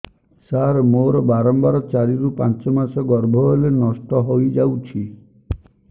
ସାର ମୋର ବାରମ୍ବାର ଚାରି ରୁ ପାଞ୍ଚ ମାସ ଗର୍ଭ ହେଲେ ନଷ୍ଟ ହଇଯାଉଛି